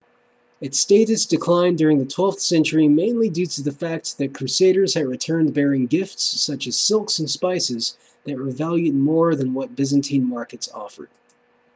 its status declined during the twelfth century mainly due to the fact that crusaders had returned bearing gifts such as silks and spices that were valued more than what byzantine markets offered